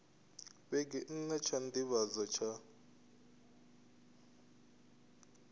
vhege nna tsha nḓivhadzo tsha